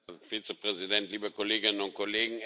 Herr Präsident! Liebe Kolleginnen und Kollegen!